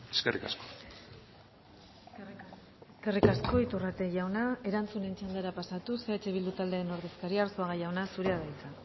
eskerrik asko eskerrik asko iturrate jauna erantzunen txandara pasatuz eh bildu taldearen ordezkaria arzuaga jauna zurea da hitza